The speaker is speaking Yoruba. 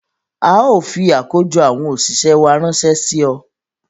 Ào fi àkójọ àwọn òṣìṣẹ́ wá ránṣẹ́ sí ọ